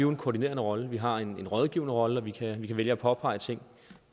en koordinerende rolle vi har en rådgivende rolle og vi kan vælge at påpege ting